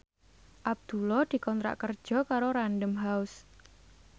Abdullah dikontrak kerja karo Random House